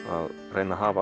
reyna að hafa